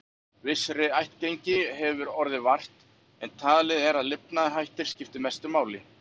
Vissrar ættgengi hefur orðið vart, en talið er að lifnaðarhættir skipti mestu máli.